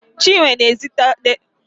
Chinwe na-edezi akụkọ maka akwụkwọ akụkọ